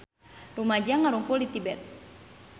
Rumaja ngarumpul di Tibet